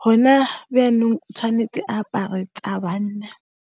go na byanong tshwanetse apare tsa banna.